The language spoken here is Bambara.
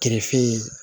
Kerefin